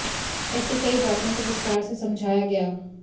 ऐसी कई बातों को विस्तार से समझाया गया